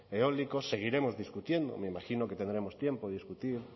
eólicos seguiremos discutiendo me imagino que tendremos tiempo de discutir